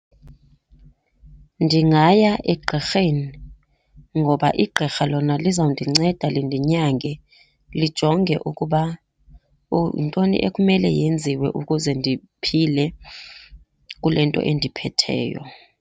Ndingaya egqirheni ngoba igqirha lona lizawundinceda lindinyange, lijonge ukuba yintoni ekumele yenziwe ukuze ndiphile kule nto endiphetheyo.